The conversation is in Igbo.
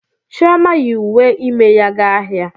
Chioma yi uwe ime ya ga ahịa.